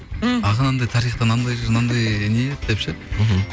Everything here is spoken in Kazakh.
м аға анандай тарихтан не еді деп ше мхм